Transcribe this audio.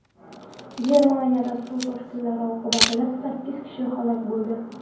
Germaniyada suv toshqinlari oqibatida sakkiz kishi halok bo‘ldi.